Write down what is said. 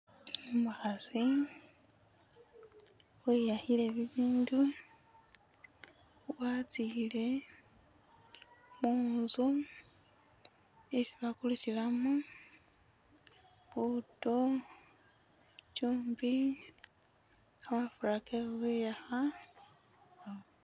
Umukhasi wiyakhile bibindu watsiile khunzu isi bakulisilamu buto, cyumbi, kamafura ke khukhwiyakha,...